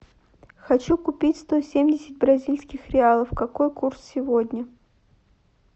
хочу купить сто семьдесят бразильских реалов какой курс сегодня